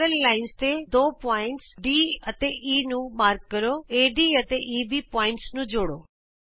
ਸਮਾਂਤਰ ਰੇਖਾ ਤੇ ਦੋ ਬਿੰਦੂ D ਅਤੇ E ਨੂੰ ਚਿੰਨ੍ਹਿਤ ਕਰੋ ਏਡੀ ਅਤੇ ਈਬੀ ਬਿੰਦੂਆਂ ਨੂੰ ਜੋੜੋ